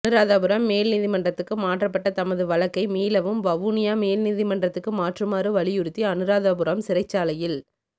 அநுராதபுரம் மேல் நீதிமன்றத்துக்கு மாற்றப்பட்ட தமது வழக்கை மீளவும் வவுனியா மேல்நீதிமன்றத்துக்கு மாற்றுமாறு வலியுறுத்தி அநுராதபுரம் சிறைச்சாலையில்